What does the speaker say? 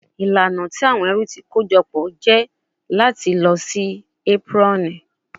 Ilana ti awọn ẹru ti kojọpọ jẹ nipa lilọ si aproni